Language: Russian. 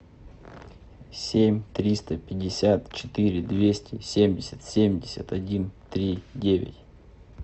семь триста пятьдесят четыре двести семьдесят семьдесят один три девять